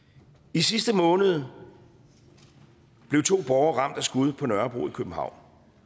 i sidste måned blev to borgere ramt af skud på nørrebro i københavn